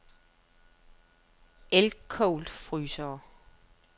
Elcold Frysere